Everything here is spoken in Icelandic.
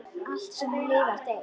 Allt, sem lifnar, deyr.